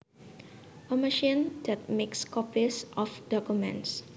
A machine that makes copies of documents